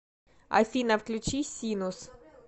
афина включи синус